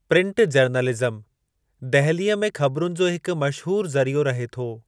Print journalism दहिलीअ में ख़बरुनि जो हिकु मशहूरु ज़रियो रहे थो।